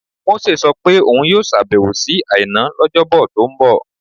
Mósè sọ pé òun yóò ṣàbẹ̀wò sí Àìná lọ́jọ́bọ tó ń bọ̀